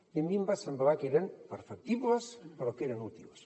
i a mi em va semblar que eren perfectibles però que eren útils